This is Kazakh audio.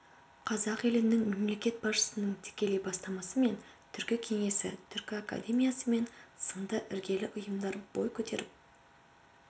қазақ елінің мемлекет басшысының тікелей бастамасымен түркі кеңесі түркі академиясы мен сынды іргелі ұйымдар бой көтеріп